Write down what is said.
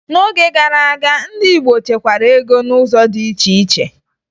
N'oge gara aga, ndị Igbo chekwara ego n'ụzọ dị iche iche